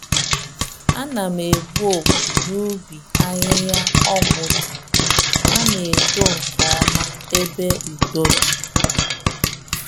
ana'm egbu opi n'ubi ahihia-ọgwụ dị, ha na eto nkeọma ebe udo di.